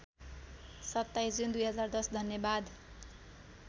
२७ जुन २०१० धन्यवाद